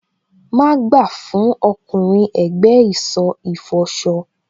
Má gbà fún ọkùnrin ẹ̀gbẹ́ ìsọ̀ ìfọṣọ.